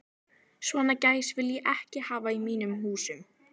Svona gæs vil ég ekki hafa í mínum húsum.